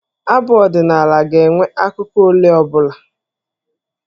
Abụ ọdịnaala ga-enwe akụkụ ole ọ bụla.